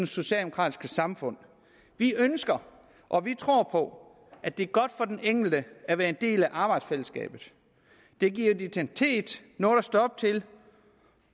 socialdemokratiske samfund vi ønsker og vi tror på at det er godt for den enkelte at være en del af arbejdsfællesskabet det giver identitet noget at stå op til